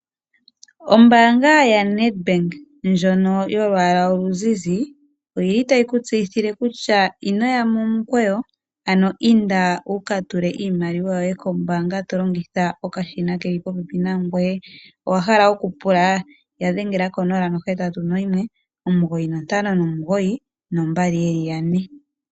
Ombanga yoNed Bank ndjono yolwaala oluzizi oyi li tayi kutseyithile kutya ino ya momukweyo ano inda wuka tule iimaliwa yoye kombanga to longitha okashina keli popepi nangoye. Owa hala okupula? Ya dhengela konomola 0819592222.